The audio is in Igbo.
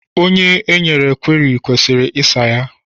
Onye e nyere kweri kwesịrị ịsa ya.